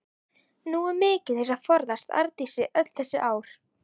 Nógu mikið til að forðast Arndísi öll þessi ár.